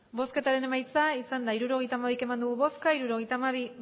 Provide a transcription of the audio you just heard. emandako botoak hirurogeita hamabi bai hirurogeita hamabi